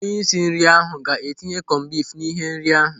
Onyeosi nri ahu ga-etinye kọmbif n'ihe nri ahụ.